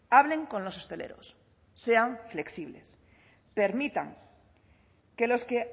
hablen con los hosteleros sean flexible permitan que los que